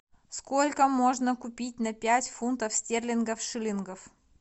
сколько можно купить на пять фунтов стерлингов шиллингов